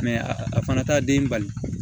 a fana t'a den bali